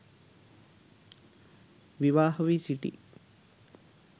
විවාහ වී සිටී.